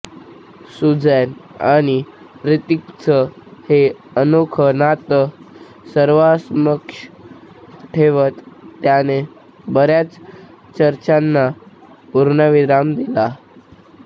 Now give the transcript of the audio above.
Suzanne आणि हृतिकचं हे अनोखं नातं सर्वांसमक्ष ठेवत त्याने बऱ्याच चर्चांना पूर्णविराम दिला